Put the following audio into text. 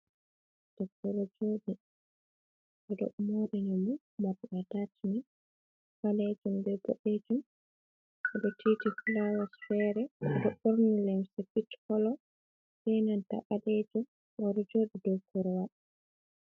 Debbo ɗo jodi, ɓeɗo morinamo morɗi atajmen, ɓalejum be boɗejum o do tiiti fulawaji fere. Oɗo ɓurni limse pich kolo be ɓalejum oɗo joɗi dow korwal.